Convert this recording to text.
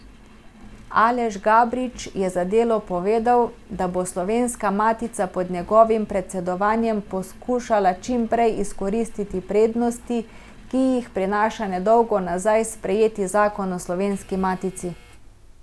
Aleš Gabrič je za Delo povedal, da bo Slovenska matica pod njegovim predsedovanjem poskušala čim prej izkoristiti prednosti, ki jih prinaša nedolgo nazaj sprejeti zakon o Slovenski matici.